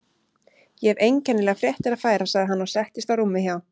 Ég hef einkennilegar fréttir að færa sagði hann og settist á rúmið hjá